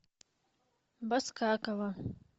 баскакова